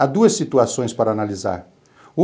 Há duas situações para analisar.